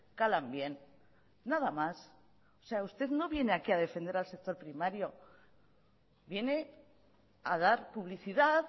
calan bien nada más o sea usted no viene aquí a defender al sector primario viene a dar publicidad